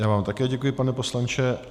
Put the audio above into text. Já vám také děkuji, pane poslanče.